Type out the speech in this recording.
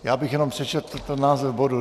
Já bych jenom přečetl ten název bodu.